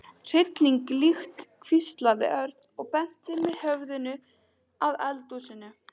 Hryllileg lykt hvíslaði Örn og benti með höfðinu að eldhúsinu.